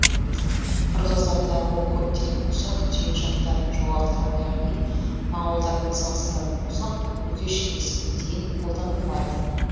қырғыздарда ол көптеген ұсақ түйек жақтарын жоғалтқан яғни моңғолдармен салыстыратын болсақ бүге шігесіне дейін қолданылмайды